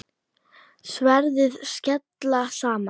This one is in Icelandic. Sverðin skella saman.